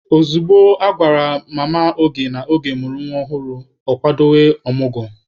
Ozugbo a gwara Mama Oge na Oge mụrụ nwa ọhụrụ, ọ kwadobe ọmụgwọ.